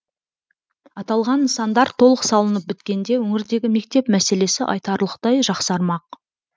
аталған нысандар толық салынып біткенде өңірдегі мектеп мәселесі айтарлықтай жақсармақ